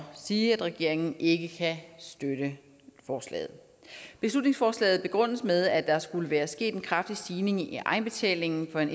sige at regeringen ikke kan støtte forslaget beslutningsforslaget begrundes med at der skulle være sket en kraftig stigning i egenbetalingen for en